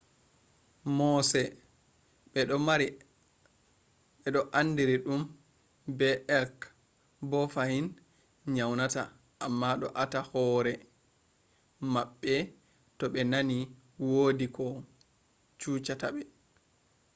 mooseɓe ɗo andiri ɗum be elk bo fahin nyaunata amma ɗo ata hore maɓɓe to ɓe nani wodi ko chuchata ɓe